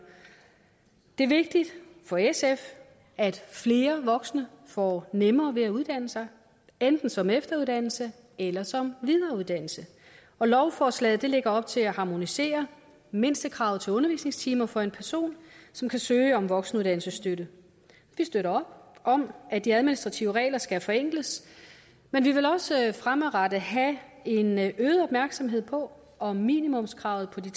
det er vigtigt for sf at flere voksne får nemmere ved at uddanne sig enten som efteruddannelse eller som videreuddannelse lovforslaget lægger op til at harmonisere mindstekravene til undervisningstimer for en person som kan søge om voksenuddannelsesstøtte vi støtter op om at de administrative regler skal forenkles men vi vil også fremadrettet have en øget opmærksomhed på om minimumskravet på de